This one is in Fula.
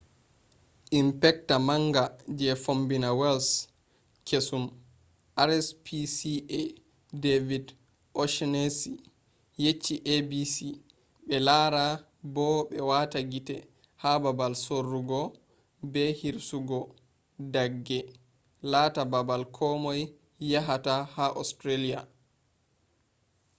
inpecta manga je fombina wales kesum rspca david o'shannessy yecci abc be lara bo be wata gite ha babal sorrugo be hirsugo dagge laata babal komoi yahata ha australia